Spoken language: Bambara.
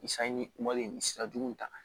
Ni sanji kumali in sira jugu ta